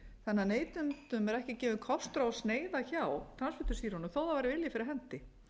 þannig að neytendum er ekki gefinn kostur á að sneiða hjá transfitusýrunum þó það væri vilji fyrir hendi